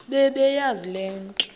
bebeyazi le nto